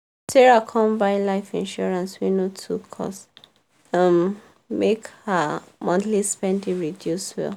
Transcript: sarah come buy life insurance wey no too cost um make her monthly spending reduce well.